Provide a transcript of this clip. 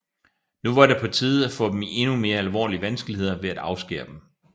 Nu var det på tide at få dem i endnu mere alvorlige vanskeligheder ved at afskære dem